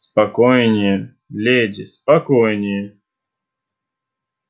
спокойнее леди спокойнее